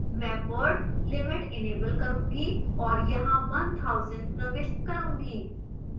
मैं word limit enable करूंगी और यहाँ 1000 प्रविष्ट करूंगी